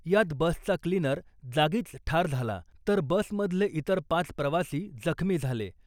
यात बसचा क्लिनर जागीच ठार झाला , तर बसमधले इतर पाच प्रवासी जखमी झाले .